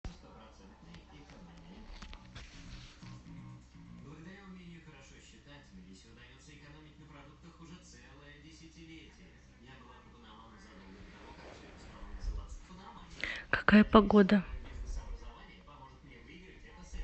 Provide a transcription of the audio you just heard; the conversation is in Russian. какая погода